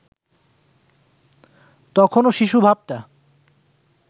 তখনো শিশু ভাবটা